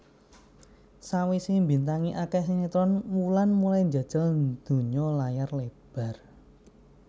Sawisé mbintangi akeh sinetron Wulan mulai njajal dunya layar lebar